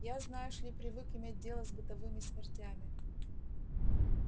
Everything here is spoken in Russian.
я знаешь ли привык иметь дело с бытовыми смертями